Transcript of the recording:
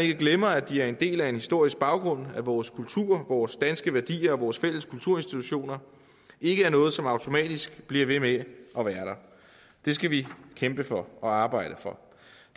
ikke glemmer at de er en del af en historisk baggrund og at vores kultur vores danske værdier og vores fælles kulturinstitutioner ikke er noget som automatisk bliver ved med at være der det skal vi kæmpe for og arbejde for